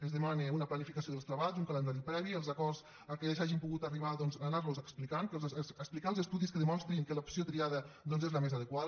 ens demana una planificació dels treballs un calendari previ els acords a què s’hagi pogut arribar anar los explicant explicar els estudis que demostrin que l’opció triada és la més adequada